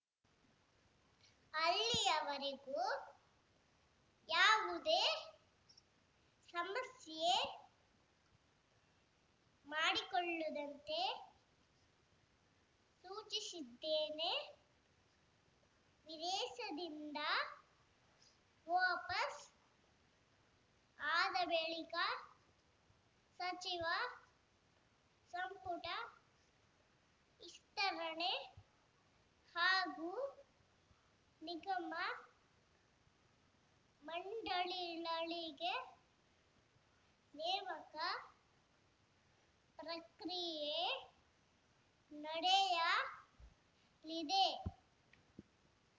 ಅಲ್ಲಿವರೆಗೂ ಯಾವುದೇ ಸಮಸ್ಯೆ ಮಾಡಿಕೊಳ್ಳು ದಂತೆ ಸೂಚಿಸಿದ್ದೇನೆ ವಿದೇಶದಿಂದ ವಪಸ್‌ ಆದ ಬಳಿಕ ಸಚಿವ ಸಂಪುಟ ವಿಸ್ತರಣೆ ಹಾಗೂ ನಿಗಮ ಮಂಡಳಿಗಳಿಗೆ ನೇಮಕ ಪ್ರಕ್ರಿಯೆ ನಡೆಯ ಲಿದೆ